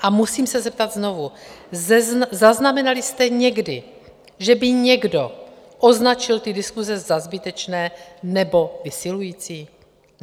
A musím se zeptat znovu: zaznamenali jsme někdy, že by někdo označil ty diskuse za zbytečné nebo vysilující?